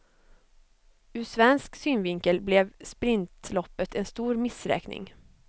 Ur svensk synvinkel blev sprintloppet en stor missräkning.